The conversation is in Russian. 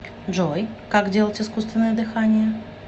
джой как делать искусственное дыхание